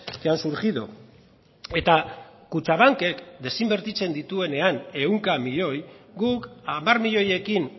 que han surgido eta kutxabankek desinbertitzen dituenean ehunka milioi guk hamar milioiekin